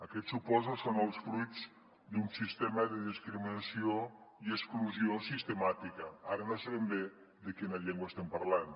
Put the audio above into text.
aquests suposo són els fruits d’un sistema de discriminació i exclusió sistemàtica ara no sé ben bé de quina llengua estem parlant